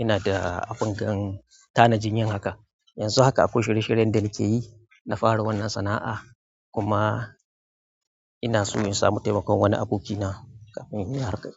ina da abin gan tanajin yan haka. Yanzu haka akwai shiye shiryen da nake yi, na fara wannan sana'a kuma ina so in samu taimakon wani abokina kafin inyi harka.